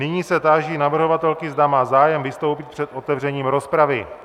Nyní se táži navrhovatelky, zda má zájem vystoupit před otevřením rozpravy.